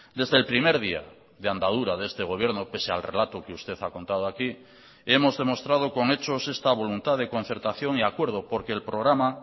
desde el primer día de andadura de este gobierno pese al relato que usted ha contado aquí hemos demostrado con hechos esta voluntad de concertación y acuerdo porque el programa